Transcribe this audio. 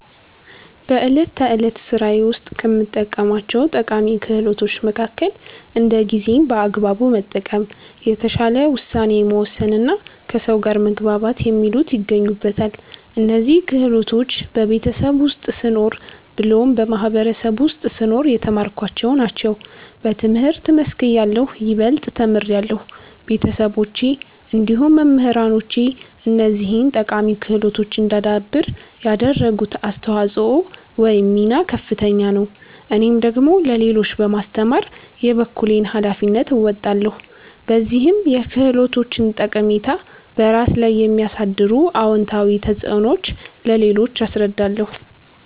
በእለት ተዕለት ስራዬ ውስጥ ከምጠቀማቸው ጠቃሚ ክህሎቶች መከከል እንደ ጊዜን በአግባቡ መጠቀም፣ የተሻለ ውሳኔ መወሰንና ከሰው ጋር መግባባት የሚሉት ይገኙበታል። እነዚህን ክህሎቶች በቤተሰብ ውስጥ ስኖር ብሎም በማህበረሰቡ ውስጥ ስኖር የተማርኳቸውን ናቸው። በትምህርት መስክ እያለሁ ይበልጥ ተምሬያለሁ። ቤተሰቦቼ እንዲሁም መምህራኖቼ እነዚህን ጠቃሚ ክህሎቶች እዳዳብር ያደረጉት አስተዋጽኦ ወይም ሚና ከፍተኛ ነው። እኔም ደግሞ ለሌሎች በማስተማር የበኩሌን ሀላፊነት እወጣለሁ። በዚህም የክህሎቶችን ጠቃሚታ፤ በራስ ላይ የሚያሳድሩት አወንታዊ ተፅዕኖዎች ለሌሎች አስረዳለሁ።